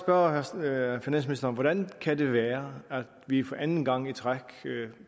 bare spørge finansministeren hvordan kan det være at vi for anden gang i træk